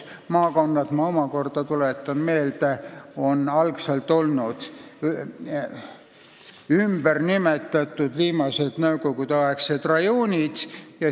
Maakonnad, ma tuletan meelde, olid algselt viimased nõukogudeaegsed rajoonid.